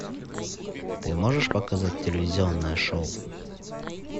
ты можешь показать телевизионное шоу